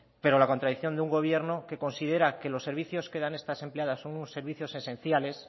pero la contradicción de un gobierno que considera que los servicios que dan estas empleadas son unos servicios esenciales